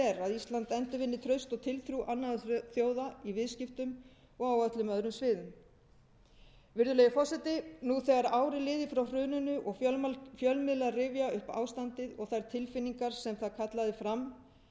er að ísland endurvinni traust og tiltrú annarra þjóða í viðskiptum og á öllum öðrum sviðum virðulegi forseti nú þegar ár er liðið frá hruninu og fjölmiðlar rifja upp ástandið og þær tilfinningar sem það kallaði fram